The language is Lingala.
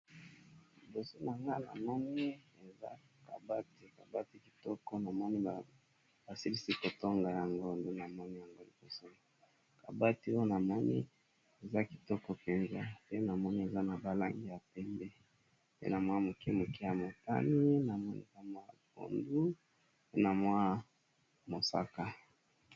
Liboso na nga na moni eza kabati kabati kitoko na moni ba silisi kotonga ya ngondu na moni yango liboso kabati o na moni eza kitoko penza pe na moni eza na ba langi ya pembe pe na mwa moke moke ya motani, na moni mayi ya pondu pe na mwa mosaka .